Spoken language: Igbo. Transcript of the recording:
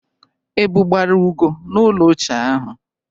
Ebụ gbara Ugo n'ụlọ ochie ahụ.